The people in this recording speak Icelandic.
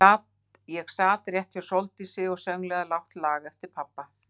Ég sat rétt hjá Sóldísi og sönglaði lágt lag eftir pabba.